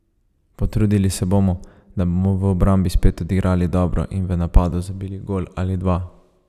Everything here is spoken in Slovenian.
Potrudili se bomo, da bomo v obrambi spet odigrali dobro in v napadu zabili gol ali dva.